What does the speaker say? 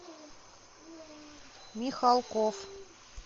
михалков